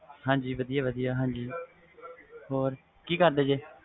ਹਾਜੀ ਵਧੀਆ ਵਧੀਆ ਹੋਰ ਕੀ ਕਿਰਦੇ ਜੇ